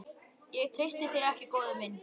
Ég treysti þér ekki, góði minn.